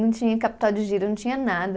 Não tinha capital de giro, não tinha nada.